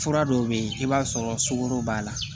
Fura dɔw bɛ yen i b'a sɔrɔ sugoro b'a la